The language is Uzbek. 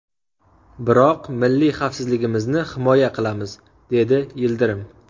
Biroq milliy xavfsizligimizni himoya qilamiz” dedi Yildirim.